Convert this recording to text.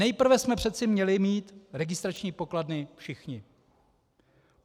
Nejprve jsme přece měli mít registrační pokladny všichni.